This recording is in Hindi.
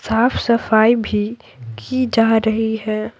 साफ सफाई भी की जा रही है।